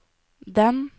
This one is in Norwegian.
den